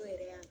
yɛrɛ y'a